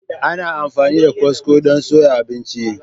Ana amfani da kwasko don soya abinci.